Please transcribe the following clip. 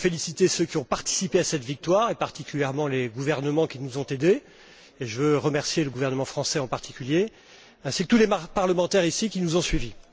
Il faut féliciter ceux qui ont participé à cette victoire et particulièrement les gouvernements qui nous ont aidés je veux remercier le gouvernement français en particulier ainsi que tous les parlementaires qui nous ont suivis.